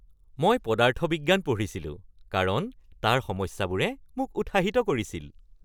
মই পদাৰ্থ বিজ্ঞান পঢ়িছিলো কাৰণ তাৰ সমস্যাবোৰে মোক উৎসাহিত কৰিছিল।